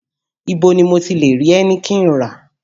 Ibo ni mo ti lè rí Heineken rà?